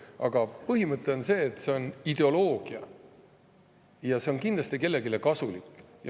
Aga põhimõte on see, et see on ideoloogia ja see on kindlasti kellelegi kasulik.